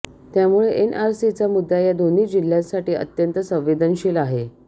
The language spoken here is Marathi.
त्यामुळे एनआरसीचा मुद्दा या दोन्ही जिह्यांसाठी अत्यंत संवेदनशील आहे